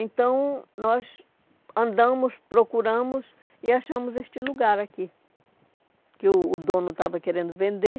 Então, nós andamos, procuramos e achamos este lugar aqui, que o o dono estava querendo vender.